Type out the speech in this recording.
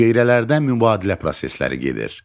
Hüceyrələrdə mübadilə prosesləri gedir.